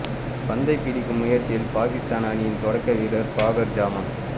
பந்தை பிடிக்கும் முயற்சியில் பாகிஸ்தான் அணியின் தொடக்க வீரர் ஃபாகர் ஜமான்